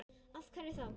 Af hverju þá?